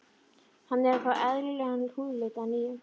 Hann er að fá eðlilegan húðlit að nýju.